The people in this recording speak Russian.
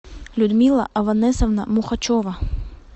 людмила аванесовна мухачева